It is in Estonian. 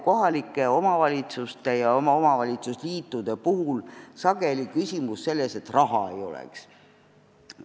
Kohalike omavalitsuste ja omavalitsusliitude puhul ei ole ju küsimus sageli selles, et raha ei ole.